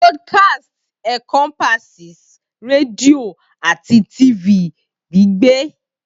Broadcast encompasses redio ati TV gbigbe